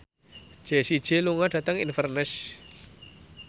Jessie J lunga dhateng Inverness